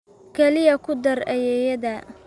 Kaliya ku dar ayeeyada